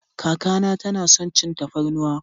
Kaka na ta na son cin tafarnuwa.